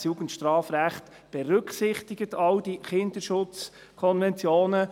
Das Jugendstrafrecht berücksichtigt all die Kinderschutzkonventionen.